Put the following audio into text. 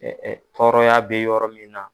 tɔrɔ ya bɛ yɔrɔ min na.